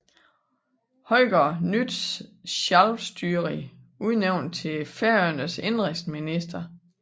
Højgaard fra Nýtt Sjálvstýri udnævnt til Færøernes indenrigsminister